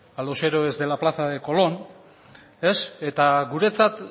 a los héroes de la plaza de colón eta guretzat